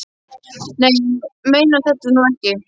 Nei, þú meinar þetta nú ekki.